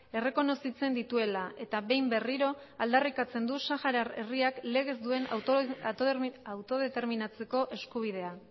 errekonozitzen dituela eta behin berriro aldarrikatzen du saharar herriak legez duen autodeterminatzeko eskubidea